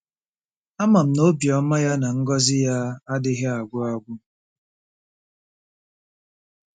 Ama m na obiọma ya na ngọzi ya adịghị agwụ agwụ. ”